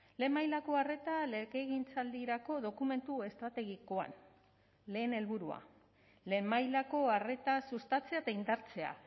lehen mailako arreta legegintzaldirako dokumentu estrategikoan lehen helburua lehen mailako arreta sustatzea eta indartzea